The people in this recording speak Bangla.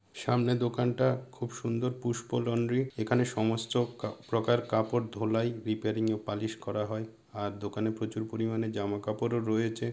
সামনের দোকানটা খুব সুন্দর পুষ্প লন্ড্রি এখানে সমস্ত প্রকার কাপড় ধোলাই রিপারিং -এ পালিশ করা হয় আর দোকানে প্রচুর পরিমানে জামা কাপড় ও রয়েছে ।